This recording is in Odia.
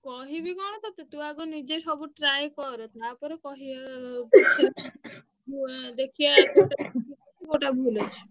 କହିବି କଣ ତତେ ତୁ ଆଗ ନିଜେ ସବୁ try କର ଟା ପରେ କହିବ ପଛେ କୋଉଟା ଭୁଲ ଅଛି।